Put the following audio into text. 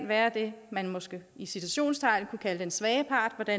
være det man måske i citationstegn kan kalde den svage part og der